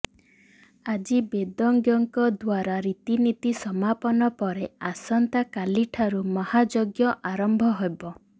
ଆଜି ବେଦଜ୍ଞଙ୍କ ଦ୍ୱାରା ରୀତିନୀତି ସମାପନ ପରେ ଆସନ୍ତା କାଲିଠାରୁ ମହାଯଜ୍ଞ ଆରମ୍ଭ ହେବ